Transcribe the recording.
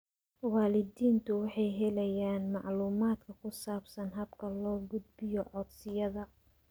Waalidiintu waxay helayaan macluumaadka ku saabsan habka loo gudbiyo codsiyada.